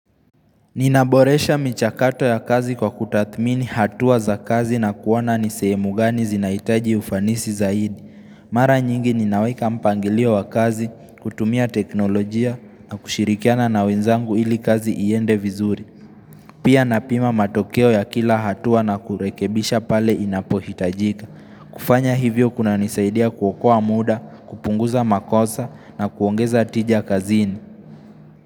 Ninaboresha michakato ya kazi kwa kutathmini hatua za kazi na kuona nisehemu gani zinahitaji ufanisi zaidi. Mara nyingi ninaweka mpangilio wa kazi, kutumia teknolojia na kushirikiana na wenzangu ili kazi iende vizuri. Pia napima matokeo ya kila hatua na kurekebisha pale inapohitajika. Kufanya hivyo kunanisaidia kuokoa muda, kupunguza makosa na kuongeza tija kazini.